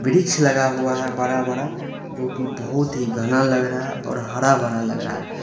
वृक्ष लगा हुआ है बड़ा बड़ा जो कि बहुत ही घना लग रहा और हर भरा लग रहा है।